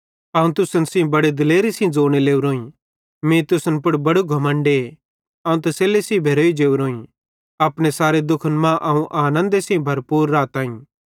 अवं तुसन सेइं बड़े दिलेरी सेइं ज़ोने लोरोईं मीं तुसन पुड़ बड़ू घमण्डे अवं तसल्ली सेइं भेरोई जोरोईं अपने सारे दुखन मां अवं आनन्दे सेइं भरपूर राताईं